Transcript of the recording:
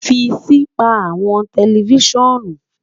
fi si pa awọn tẹlifisiọnu